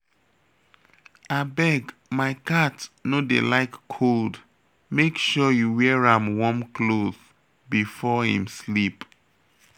Abeg my cat no dey like cold make sure you wear an warm cloth before im sleep